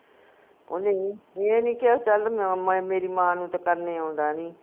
ਓਹਨੇ ਏ ਨੀ ਕਿਹਾ ਚਲ ਮਆ ਮੇਰੀ ਮਾਂ ਨੂੰ ਤਾ ਕਰਨੇ ਆਉਂਦਾ ਨੀ